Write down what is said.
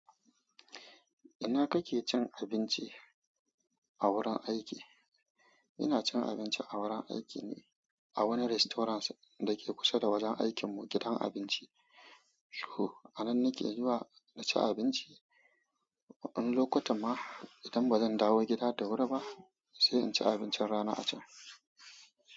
Ina kake cin abinci a wurin aiki? Ina cin abinci a wurin aiki ne a wani restaurant da ke kusa da wajen aikinmu, gidan abinci. Huh, a nan nake zuwa na ci abinci. Wani lokutan ma idan ba zan dawo gida da wuri ba, sai in ci abincin rana a can.